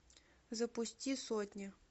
запусти сотня